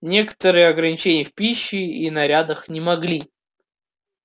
некоторые ограничения в пище и нарядах не могли